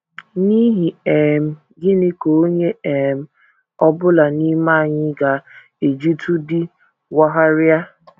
N’ihi um gịnị ka onye um ọ bụla n’ime anyị ga - ejitụdị wagharịa?